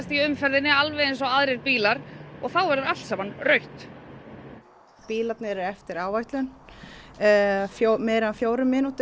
í umferð eins og aðrir bílar og þá verður allt rautt bílarnir eru á eftir áætlun meira en fjórar mínútur